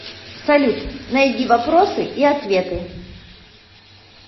салют найди вопросы и ответы